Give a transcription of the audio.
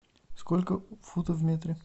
сколько футов в метре